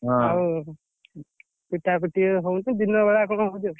ଆଉ ପିଟାପିଟି ହଉଛି ଦିନବେଳା ସବୁ ହଉଛି ଆଉ।